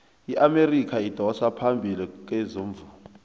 iamerika idosa phambili kezomvumo